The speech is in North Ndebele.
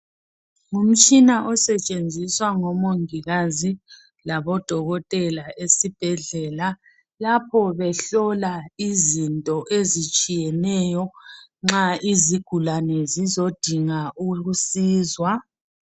Ngumtshina osetshenziswa ngomongikazi labodokotela esibhedlela lapho behlola izinto ezitshiyeneyo nxa izigulani zizodingwa ukusizwa.